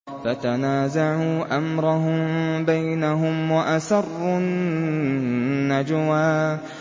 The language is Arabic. فَتَنَازَعُوا أَمْرَهُم بَيْنَهُمْ وَأَسَرُّوا النَّجْوَىٰ